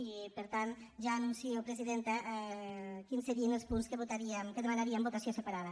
i per tant ja anuncio presidenta quins serien els punts que demanaríem votació separada